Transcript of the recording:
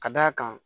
Ka d'a kan